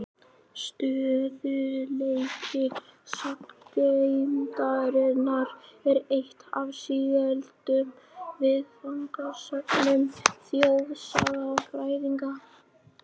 Stöðugleiki sagngeymdarinnar er eitt af sígildum viðfangsefnum þjóðsagnafræðinga.